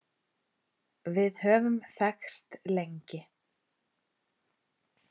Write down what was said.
Við höfum þekkst lengi